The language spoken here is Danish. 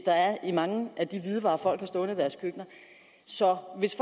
der er i mange af de hvidevarer folk har stående i deres køkkener så hvis